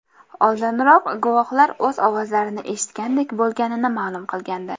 Oldinroq guvohlar o‘q ovozlarini eshitgandek bo‘lganini ma’lum qilgandi .